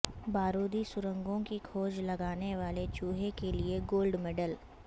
بارودی سرنگوں کی کھوج لگانے والے چوہے کے لیے گولڈ میڈل